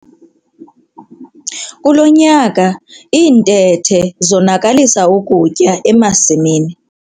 Kulo nyaka iintethe zonakalisa ukutya emasimini.